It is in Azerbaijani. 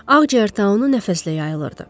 Ağciyər taunu nəfəslə yayılırdı.